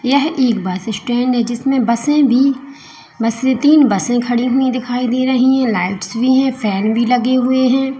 यह एक bus stand है जिसमें बसे भी बस ये तीन बसें खड़ी हुई दिखाई दे रही हैं लाइट्स भी हैं फैन भी लगे हुए हैं।